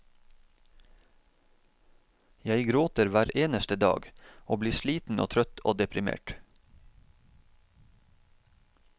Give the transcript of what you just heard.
Jeg gråter hver eneste dag, og blir sliten og trøtt og deprimert.